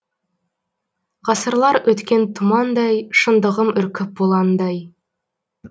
ғасырлар өткен тұмандай шындығым үркіп бұландай